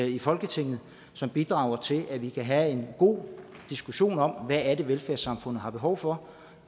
i folketinget som bidrager til at vi kan have en god diskussion om hvad det er velfærdssamfundet har behov for